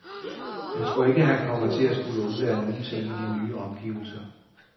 Han tror ikke, han kommer til at skulle undvære nogen ting i de nye omgivelser.